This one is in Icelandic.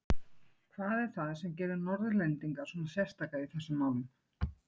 Hvað er það sem gerir Norðlendinga svona sérstaka í þessum málum?